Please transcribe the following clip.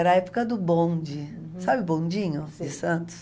Era a época do bonde, uhum, sabe o bondinho de Santos? Sei